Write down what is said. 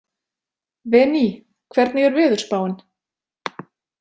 Véný, hvernig er veðurspáin?